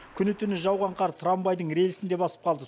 күні түні жауған қар трамвайдың рельсін де басып қалды